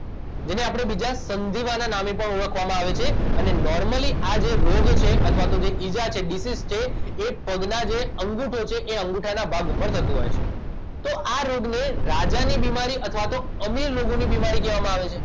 જેને આપણે બીજા સંધિવાના નામે પણ ઓળખવામાં આવે છે અને નોર્મલી આ જે રોગ છે અથવા તો ઇજા છે ડીસીજ છે એ પગના જે અંગુઠો છે એ અંગુઠાના ભાગ ઉપર કરતું હોય છે તો આ રોગને રાજાની બિમારી અથવા તો અમીર લોકોની બિમારી કહેવામાં આવે છે